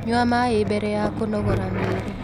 Nyua maĩ mbere ya kũnogora mwĩrĩ